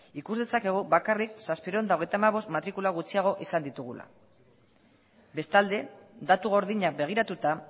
ikus dezakegu bakarrik zazpiehun eta hogeita hamabost matrikula gutxiago izan ditugula bestalde datu gordinak begiratuta